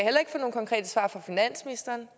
få nogen konkrete svar fra finansministeren